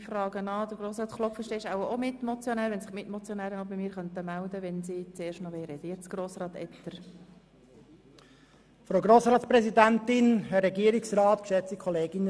Ich nehme an, dass Grossrat Klopfenstein ebenfalls als Mitmotionär sprechen wird und bitte die Mitmotionäre, sich bei mir zu melden, wenn sie das Wort wünschen.